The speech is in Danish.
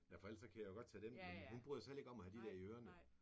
Ja for ellers kan jeg jo godt tage dem men hun bryder sig heller ikke om at have de der i ørerne